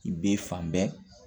I bɛ fan bɛɛ